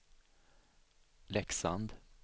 Leksand